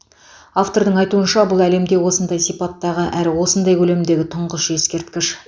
автордың айтуынша бұл әлемде осындай сипаттағы әрі осындай көлемдегі тұңғыш ескерткіш